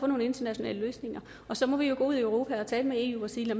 nogle internationale løsninger og så må vi gå ud i europa og tale med eu og sige at